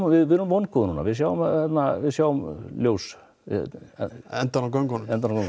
við erum vongóð núna við sjáum við sjáum ljós við endann á göngunum